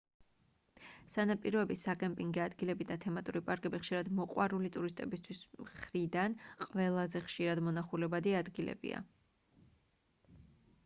სანაპიროები საკემპინგე ადგილები და თემატური პარკები ხშირად მოყვარული ტურისტებისთვის მხრიდან ყველაზე ხშირად მონახულებადი ადგილებია